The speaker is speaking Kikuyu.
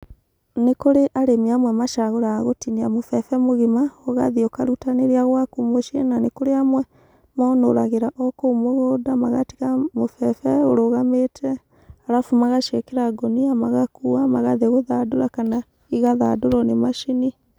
Nī kūrī arīmī amwe macagūraga gūtīnīa mūbebe mūgīma ūgathiī ūkarutanīria gwaku mūciī na nīkūrī amwe monūragīra o kūu mūgūnda magatīga mūbebe ūrūgamīte arabu magaciīkīra ngūnīa magakua magathīī gūthandūra kana īgathandūrwo nī macīnī